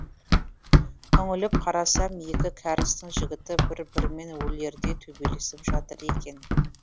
үңіліп қарасам екі кәрістің жігіті бір бірімен өлердей төбелесіп жатыр екен